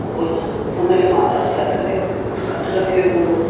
ಒಬ್ಬರನ್ನು ಫೋನ್ನ ಲ್ಲಿ ಮಾತಾಡ್ತಾ ಇದ್ದಾರೆ ಒಂದು ಕಟ್ಟಡದಲ್ಲಿ ಒಂದು --